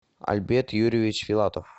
альберт юрьевич филатов